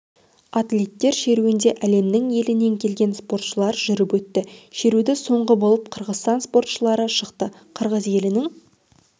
атлеттер шеруінде әлемнің елінен келген спортшылар жүріп өтті шеруді соңғы болып қырғызстан спортшылары шықты қырғыз елінің